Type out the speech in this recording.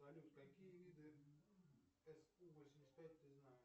салют какие виды су восемьдесят пять ты знаешь